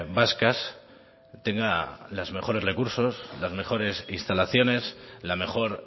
vascas tenga los mejores recursos las mejores instalaciones la mejor